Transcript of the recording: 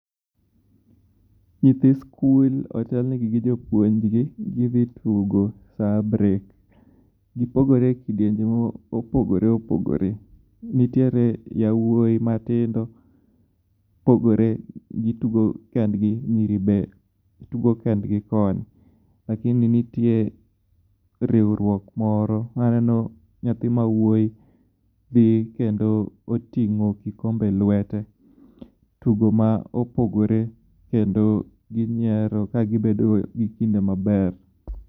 Nyithi skul otelnegi gi jopuonjgi gii hdtugo sa abiriyo(7). Gipogore e kidienje mopogoro opogore. Nitiere jawuoi matindo opogore gitugo kendgi. Nyiri be tugo kendgi koni. Lakini nitie riwruok moro. Aneno nyathi ma wuoi dhi kendo oting'o kikombe el wete tugo mapogore kendo ginyiero ka gibedo gi kinde maber.